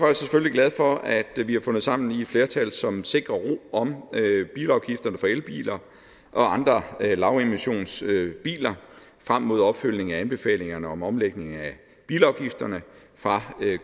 jeg selvfølgelig glad for at vi vi har fundet sammen i et flertal som sikrer ro om bilafgifterne for elbiler og andre lavemissionsbiler frem mod opfølgningen af anbefalingerne om omlægning af bilafgifterne fra